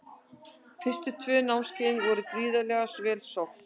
Fyrstu tvö námskeiðin voru gríðarlega vel sótt.